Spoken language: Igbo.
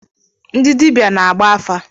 Ndị dibịa na-agba afa.